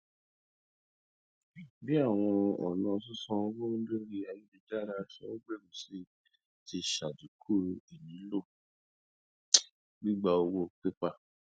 bí àwọn ọnà sísànwó lórí ayélujára ṣe n gbèrú sí i ti ṣàdínkù ìnílò gbígbà owó pépà